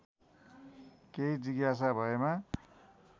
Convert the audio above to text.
केही जिज्ञासा भएमा